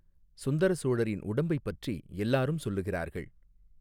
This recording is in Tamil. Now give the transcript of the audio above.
சுந்தர சோழரின் உடம்பைப் பற்றி எல்லாரும் சொல்லுகிறார்கள்.